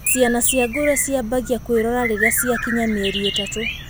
Ciana cia ngũrũe ciambagia kwĩrora rĩrĩa ciakinyia mĩeri ĩtatũ.